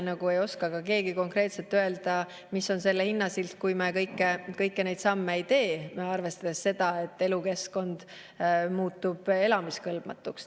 Nagu ei oska keegi ka konkreetselt öelda, mis on selle hinnasilt, kui me kõiki neid samme ei tee, arvestades seda, et elukeskkond muutub elamiskõlbmatuks.